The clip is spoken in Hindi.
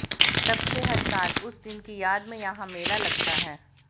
तब से हर साल उस दिन की याद में यहां मेला लगता है